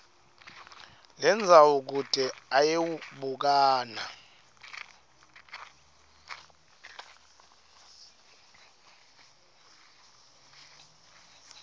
lendzawo kute ayewubukana